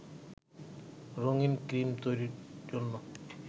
রঙিন ক্রিম তৈরির জন্য